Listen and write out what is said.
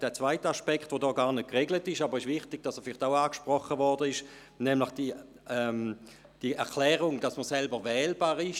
Der zweite Aspekt, welcher hier gar nicht geregelt ist – es ist aber wichtig, dass er angesprochen wird –, ist die Erklärung, dass man selber wählbar ist.